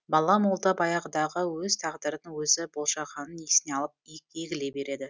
бала молда баяғыдағы өз тағдырын өзі болжағанын есіне алып егіле береді